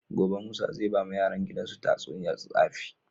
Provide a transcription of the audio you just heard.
Gobe musa zai bawa yaran gidan su tatsuniyar tsafi